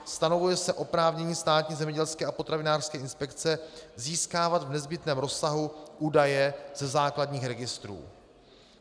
Stanovuje se oprávnění Státní zemědělské a potravinářské inspekce získávat v nezbytném rozsahu údaje ze základních registrů.